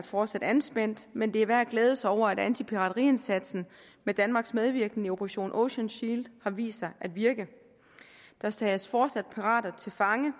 fortsat anspændt men det er værd at glæde sig over at antipirateriindsatsen med danmarks medvirken i operation ocean shield har vist sig at virke der tages fortsat pirater til fange